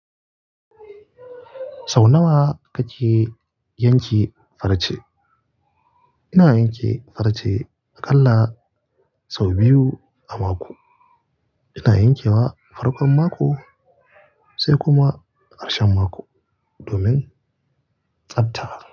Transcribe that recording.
Sau nawa kake yanke farce? Ina yanke farce aƙalla sau biyu a mako. Ina yankewa farkon mako. Sai kuma ƙarshen mako domin tsabta.